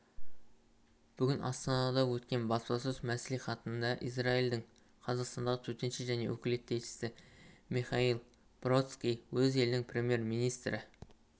бүгін астанада өткен баспасөз мәслиіатында израильдің қазақстандағы төтенше және өкілетті елшісі миіаэль бродский өз елінің премьер-министрі